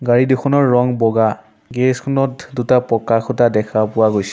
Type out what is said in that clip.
গাড়ী দুখনৰ ৰং বগা গেৰেজ খনত দুটা পকা খুঁটা দেখা পোৱা গৈছে।